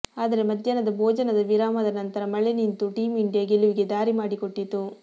ಆದರೆ ಮಧ್ಯಾಹ್ನದ ಭೋಜನದ ವಿರಾಮದ ನಂತರ ಮಳೆ ನಿಂತು ಟೀಂ ಇಂಡಿಯಾ ಗೆಲುವಿಗೆ ದಾರಿ ಮಾಡಿಕೊಟ್ಟಿತ್ತು